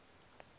mcclernand's